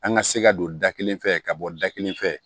An ka se ka don da kelen fɛ ka bɔ da kelen fɛ